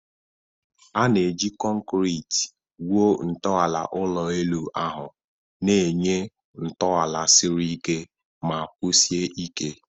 A na-eji kọnkịtị wuo ntọala ụlọ elu ahụ, na-enye ntọala siri ike ma kwụsie ike.